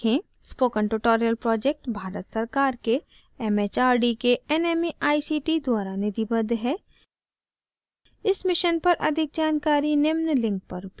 spoken tutorial project Bharat सरकार के M H R D के nmeict द्वारा निधिबद्ध है इस mission पर अधिक जानकारी निम्न link पर उपलब्ध है